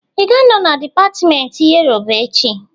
I ga-anọ na dipatmenti Yoruba echị?